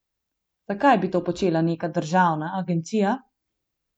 Zakaj bi to počela neka državna agencija?